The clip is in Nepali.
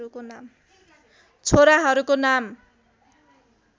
छोराहरूको नाम